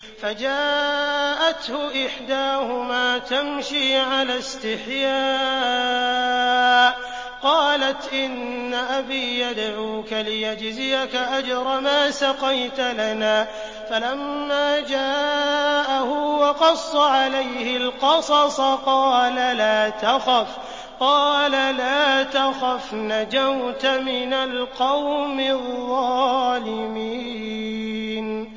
فَجَاءَتْهُ إِحْدَاهُمَا تَمْشِي عَلَى اسْتِحْيَاءٍ قَالَتْ إِنَّ أَبِي يَدْعُوكَ لِيَجْزِيَكَ أَجْرَ مَا سَقَيْتَ لَنَا ۚ فَلَمَّا جَاءَهُ وَقَصَّ عَلَيْهِ الْقَصَصَ قَالَ لَا تَخَفْ ۖ نَجَوْتَ مِنَ الْقَوْمِ الظَّالِمِينَ